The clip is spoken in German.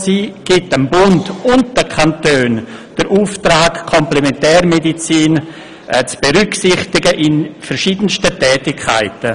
Sie gibt dem Bund und den Kantonen den Auftrag, die Komplementärmedizin zu berücksichtigen in verschiedensten Tätigkeiten.